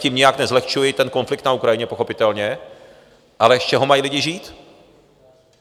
Tím nijak nezlehčuji ten konflikt na Ukrajině pochopitelně, ale z čeho mají lidé žít?